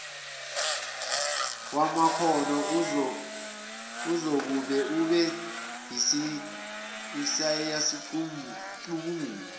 wamakhono uzokube usuyayicubungula